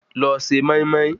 Lọ se mọ́ín-mọ́ín